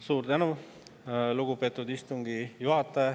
Suur tänu, lugupeetud istungi juhataja!